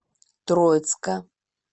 троицка